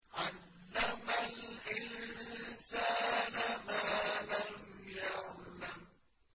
عَلَّمَ الْإِنسَانَ مَا لَمْ يَعْلَمْ